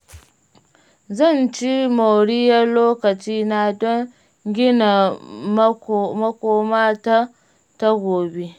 Zan ci moriyar lokacina don gina makoma ta ta gobe.